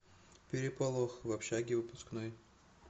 переполох в общаге выпускной